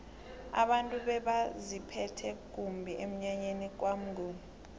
abantu bebaziphethe kumbi emnyanyeni kwamnguni